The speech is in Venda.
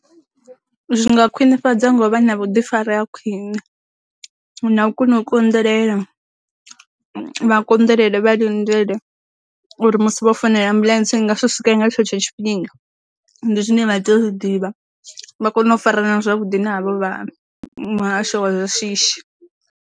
Zwi nga khwinifhadzwa ngo vha vhuḓifari ha khwine, na u kona u konḓelela, vha konḓelele vha lindele uri musi vho founela ambuḽentse nga swika nga tshetsho tshifhinga, ndi zwine vha tea u zwi ḓivha vha kone u farana zwavhuḓi na havho vha muhasho wa zwa shishi.